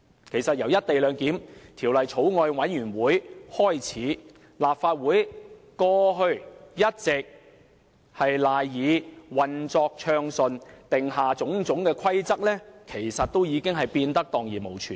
其實由《廣深港高鐵條例草案》委員會成立開始，立法會過去一直賴以運作的種種規則，其實已蕩然無存。